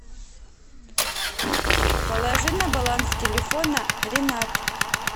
положи на баланс телефона ренат